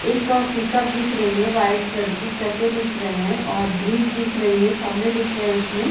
एक अ पिकअप दिख रही है वाइट कलर की चक्के दिख रही है और ब्रिज दिख रही है खंम्बे दिख रहे है उसमे--